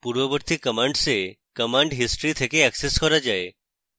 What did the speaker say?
পূর্ববর্তী commands এ command history থেকে অ্যাক্সেস করা যায়